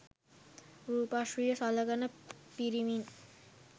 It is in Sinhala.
රූපශ්‍රීය සලකන පිරිමින්